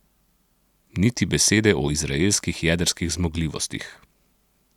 Niti besede o izraelskih jedrskih zmogljivostih.